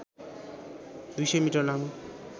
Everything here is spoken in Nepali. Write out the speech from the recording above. २०० मिटर लामो